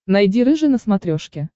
найди рыжий на смотрешке